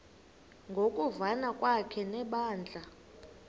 ngokuvana kwakhe nebandla